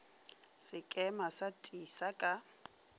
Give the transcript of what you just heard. ga sekema sa tisa ka